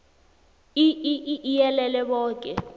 iii iyelele boke